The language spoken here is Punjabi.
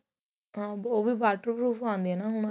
ਹਾਂ ਉਹ ਵੀ waterproof ਆਂਦੇ ਏ ਨਾ ਹੁਣ